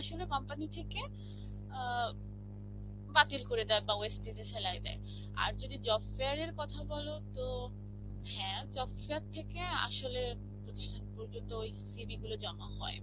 আসলে company থেকে অ্যাঁ বাতিল করে দেয় wastage এ ফেলায় দেয়. আর যদি job fair এর কথা বলো তো, হ্যাঁ job fair থেকে আসলে প্রতিষ্ঠান পর্যন্ত ওই CV গুলো জমা হয়.